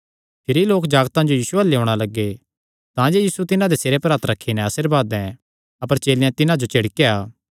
भिरी लोक जागतां जो यीशु अल्ल लेयोणा लग्गे तांजे यीशु तिन्हां दे सिरे पर हत्थ रखी नैं आशीर्वाद दैं अपर चेलेयां तिन्हां जो झिड़केया